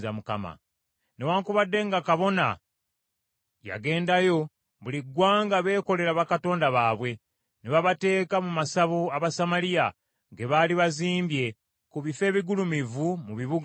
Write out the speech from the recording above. Newaakubadde nga kabona yagendayo, buli ggwanga beekolera bakatonda baabwe, ne babateeka mu masabo Abasamaliya ge baali bazimbye ku bifo ebigulumivu mu bibuga byabwe.